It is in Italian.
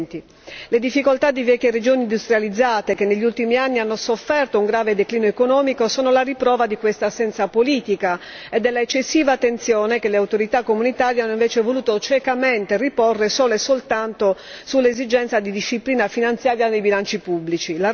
2020. Le difficoltà di vecchie regioni industrializzate, che negli ultimi anni hanno sofferto un grave declino economico sono la riprova di questa assenza politica e dell'eccessiva tensione che le autorità comunitarie hanno invece voluto ciecamente riporre solo e soltanto sull'esigenza di disciplina finanziaria nei bilanci pubblici.